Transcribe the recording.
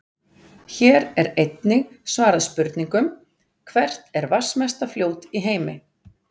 Hér er einnig svarað spurningunum: Hvert er vatnsmesta fljót í heimi?